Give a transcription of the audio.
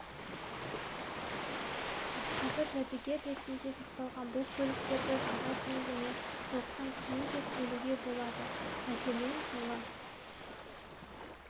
қазір жәдігер ретінде сақталған бұл көліктерді жылға дейін және соғыстан кейін деп бөлуге болады мәселен жылы